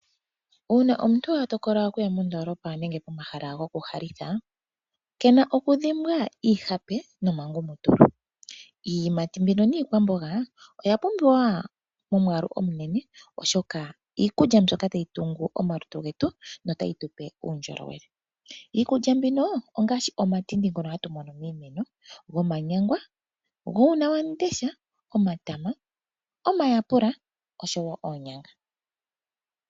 Uuna omuntu a tokola okuya mondoolopa nenge pomahala gomalandithilo, ha unene hadhimbwa iihape niingumutulu. Iiyimati niikwamboga oya pumbiwa momwaalu omunene oshoka iikulya mbyoka oha yi tungu omalutu getu notayi tupe uundjolowele. Iikulya ngaashi Omatindi, Omanyangwa, Uunawam'ndesha, Omatama, Omayapula noshowo oonyanga.